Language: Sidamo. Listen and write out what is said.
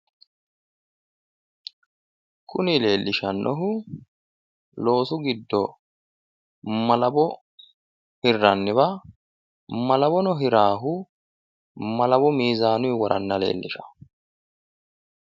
kuni leelishannohu loosu giddo malawo hirranniwa malawono hiraahu malawo miizaanuyi woranna leellishawo.